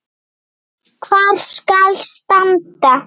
Hvar skal standa?